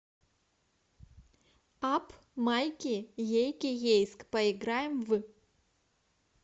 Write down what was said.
апп майки ейки ейск поиграем в